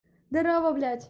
здравствуй блять